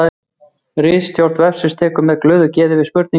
Ritstjórn vefsins tekur með glöðu geði við spurningum af öllum fræðasviðum.